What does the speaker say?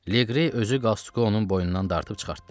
Legri özü qastuku onun boynundan dartıb çıxartdı.